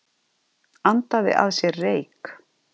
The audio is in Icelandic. Andaði að sér reyk